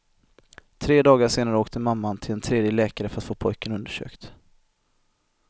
Tre dagar senare åkte mamman till en tredje läkare för att få pojken undersökt.